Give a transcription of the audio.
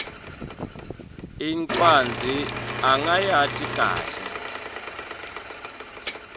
incwadzi akayati kahle